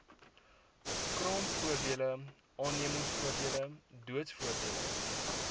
kraamvoordele aannemingsvoordele doodsvoordele